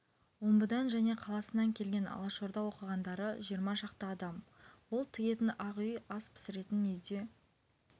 омбыдан және қаласынан келген алашорда оқығандары жиырма шақты адам ол тігетін ақ үй ас пісіретін үйде